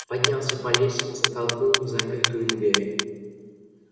поднялся по лестнице толкнул незапертую двери